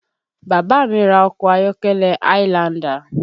Bàbá mi ra ọkọ ayọ́kẹ́lẹ́ highlander